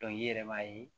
i yɛrɛ b'a ye